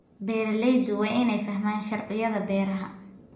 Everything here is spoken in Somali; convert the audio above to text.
Beeraleydu waa inay fahmaan sharciyada beeraha.